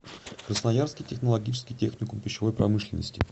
красноярский технологический техникум пищевой промышленности